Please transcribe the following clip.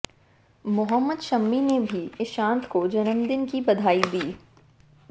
मोहम्मद शमी ने भी ईशांत को जन्मदिन की बधाई दी